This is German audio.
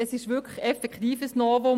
Es ist wirklich ein Novum.